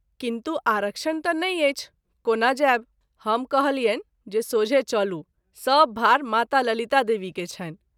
किन्तु आरक्षण त’ नहिं अछि कोना जाएब ? हम कहलियनि जे सोझे चलू सभ भाड़ माता ललिता देवी के छनि।